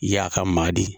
I y'a ka maa de ye